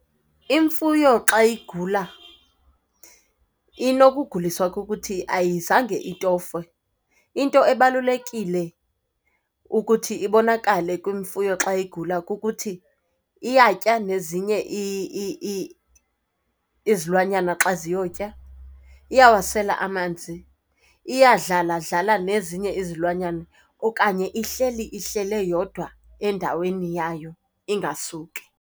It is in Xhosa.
Imfuyo xa igula inokuguliswa kukuthi ayizange itofwe. Into ebalulekile ukuthi ibonakale kwimfuyo xa igula kukuthi iyatya nezinye izilwanyana xa ziyotya, iyawasela amanzi, iyadlaladlala nezinye izilwanyana okanye ihleli ihlele yodwa endaweni yayo, ingasuki?